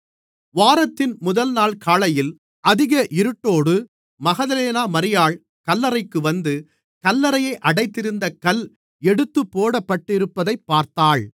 வாரத்தின் முதல்நாள் காலையில் அதிக இருட்டோடு மகதலேனா மரியாள் கல்லறைக்கு வந்து கல்லறையை அடைத்திருந்த கல் எடுத்துப்போடப்பட்டிருப்பதைப் பார்த்தாள்